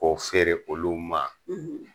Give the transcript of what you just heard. Ko feere olu ma